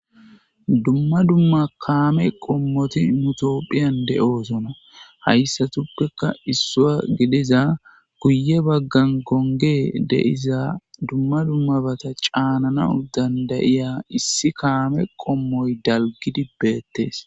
Dumma dumma kame qomot nu tophiyan dosona . Haysappeka issuwa gidiza guye bagan gongey de'za dumma dummabata caninaw danda'iza issi kame qomoy dalgid betes